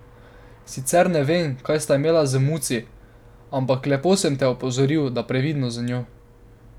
Sicer ne vem, kaj sta imela z Muci, ampak lepo sem te opozoril, da previdno z njo!